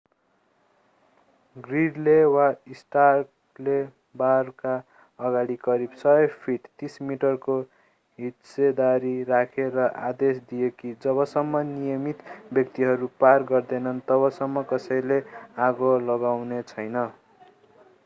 ग्रिडले वा स्टार्कले बारका अगाडि करिब 100 फिट 30 मिटर को हिस्सेदारी राखे र आदेश दिए कि जबसम्म नियमित व्यक्तिहरू पार गर्दैनन् तबसम्म कसैले आगो लगाउनेछैन।